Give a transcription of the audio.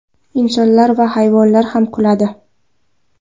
Insonlar ham hayvonlar ham kuladi.